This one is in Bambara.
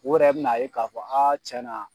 U yɛrɛ bɛn'a ye k'a fɔ tiɲɛna